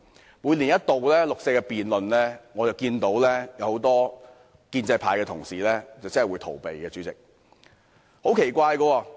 在一年一度的六四辯論中，我看到很多建制派同事採取逃避態度。